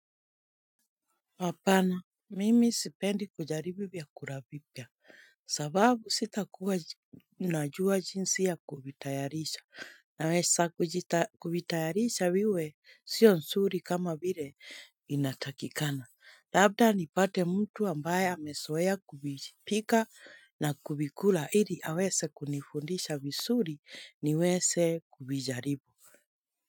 Hapana, mimi sipendi kujaribu vyakula kura vipya, sababu sitakuwa najua jinsi ya kuvitayarisha, naweza kuvitayarisha viwe sio nzuri kama vile inatakikana. Labda nipate mtu ambaye amezoea kuvipika na kuvikula, ili aweze kunifundisha vizuri niweze kuvijaribu.